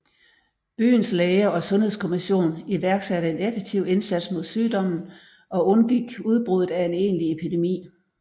Byens læger og Sundhedskommission iværksatte en effektiv indsats mod sygdommen og undgik udbruddet af en egentlig epidemi